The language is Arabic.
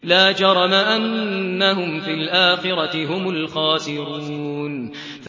لَا جَرَمَ أَنَّهُمْ فِي الْآخِرَةِ هُمُ الْخَاسِرُونَ